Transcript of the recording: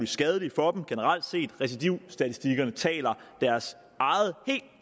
skadelige for dem recidivstatistikkerne taler deres eget helt